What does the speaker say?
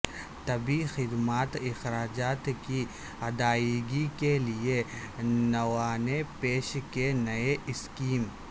طبی خد مات اخراجات کی ادائیگی کیلئے نووانے پیش کی نئی اسکیم